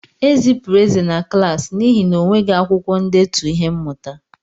Ezipụrụ Eze na klaasị n'ihi na o nweghị akwukwo ndetu ihe mmụta.